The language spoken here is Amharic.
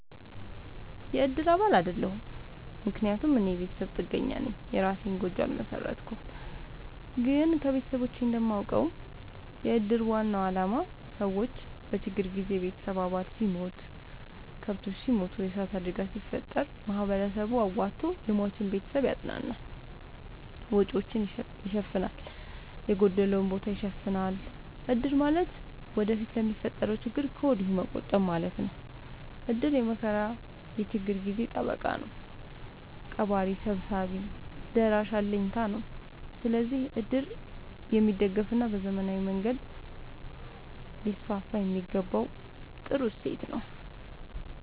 የእድር አባል አይደለሁም። ምክንያቱም እኔ የቤተሰብ ጥገኛነኝ የእራሴን ጎጆ አልመሠረትኩም። ግን ከቤተሰቦቼ እንደማውቀው። የእድር ዋናው አላማ ሰዎች በችግር ጊዜ የቤተሰብ አባል ሲሞት፤ ከብቶች ሲሞቱ፤ የዕሳት አደጋ ሲፈጠር፤ ማህበረሰቡ አዋቶ የሟችን ቤተሰብ ያፅናናል፤ ወጪወቹን ይሸፋናል፤ የጎደለውን ቦታ ይሸፋናል። እድር ማለት ወደፊት ለሚፈጠረው ችግር ከወዲሁ መቆጠብ ማለት ነው። እድር የመከራ የችግር ጊዜ ጠበቃ ነው። ቀባሪ ሰብሳቢ ደራሽ አለኝታ ነው። ስለዚህ እድር የሚደገፋና በዘመናዊ መንገድ ሊስስፋየሚገባው ጥሩ እሴት ነው።